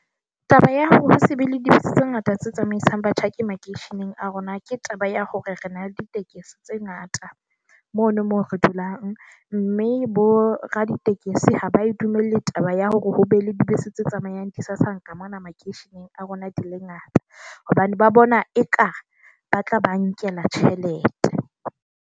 Taba ya hore ho se be le di busitse ngata tse tsamaisang batjhaki makeisheneng a rona, ke taba ya hore re na le ditekesi tse ngata mono mo re dulang. Mme boraditekesi ha ba e dumelle taba ya hore ho be le dibese, tse tsamayang disasanka mona makeisheneng a rona di le ngata. Hobane ba bona eka ba tla ba nkela tjhelete.